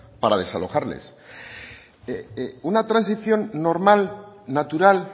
para desalojarles una transición normal natural